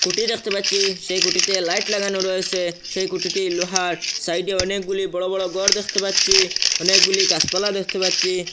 কুটি দেখতে পাচ্ছি সেই কুটিতে লাইট লাগানো রয়েছে সেই কুটিটি লোহার সাইডে অনেকগুলি বড়ো বড়ো গর দেখতে পাচ্ছি অনেকগুলি গাছপালা দেখতে পাচ্ছি।